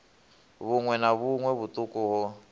vhuṋwe na vhuṋwe vhuṱuku ho